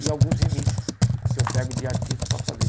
E alguns remixes que eu pego de artista para fazer.